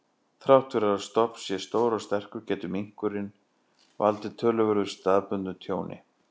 Þrátt fyrir að stofn sé stór og sterkur, getur minkurinn valdið töluverðu staðbundnu tjóni.